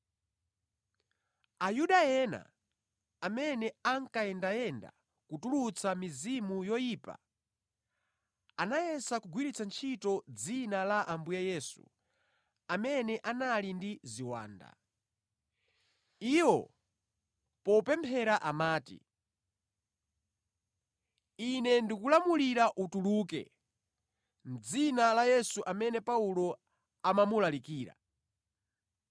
Ayuda ena amene ankayendayenda kutulutsa mizimu yoyipa anayesa kugwiritsa ntchito dzina la Ambuye Yesu pa amene anali ndi ziwanda. Iwo popemphera amati, “Ine ndikulamulira utuluke, mʼdzina la Yesu amene Paulo amamulalikira.”